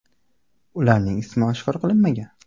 Ularning ismi oshkor qilinmagan.